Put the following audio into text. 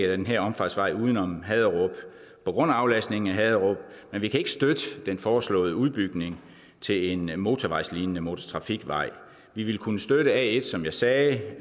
den her omfartsvej uden om haderup på grund af aflastningen af haderup men vi kan ikke støtte den foreslåede udbygning til en motorvejslignende motortrafikvej vi ville kunne støtte a1 som jeg sagde